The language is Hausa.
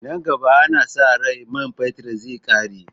Nan gaba ana sa ran man fetir zai ƙare